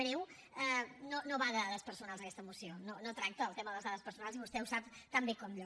breument no va de dades personals aquesta moció no tracta el tema de les dades personals i vostè ho sap tan bé com jo